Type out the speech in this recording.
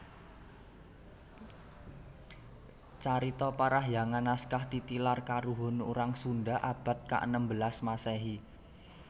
Carita Parahiyangan naskah titilar karuhun urang Sunda abad kaenem belas Maséhi